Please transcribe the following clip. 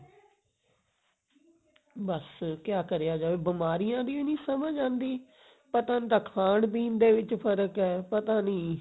ਬਸ ਕਿਆ ਕਰਿਆ ਜਾਵੇ ਬਿਮਾਰੀਆਂ ਦੀ ਓ ਨਹੀਂ ਸਮਝ ਆਉਂਦੀ ਪਤਾ ਨਹੀਂ ਖਾਣ ਪੀਣ ਦੇ ਵਿੱਚ ਫਰਕ ਹੈ ਪਤਾ ਨਹੀਂ